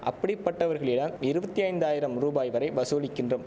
அப்படிப்பட்டவர்களியம் இருவத்தி ஐந்தாயிரம் ரூபாய் வரை வசூலிக்கின்றோம்